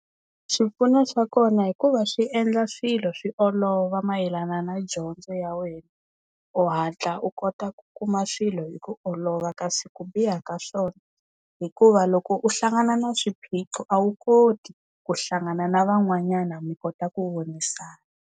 Swipfuno swa kona hikuva swi endla swilo swi olova mayelana na dyondzo ya wena u hatla u kota ku kuma swilo hi ku olova kasi ku biha ka swona hikuva loko u hlangana na swiphiqo a wu koti ku hlangana na van'wanyana mi kota ku vonisana.